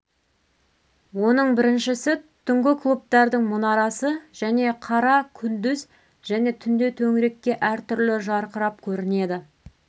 оның біріншісі түнгі клубтардың мұнарасы және қара күндіз және түнде төңірекке әртүрлі жарқырап көрінеді